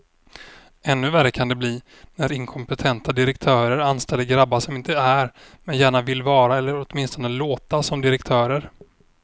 Ännu värre kan det bli när inkompetenta direktörer anställer grabbar som inte är, men gärna vill vara eller åtminstone låta som direktörer.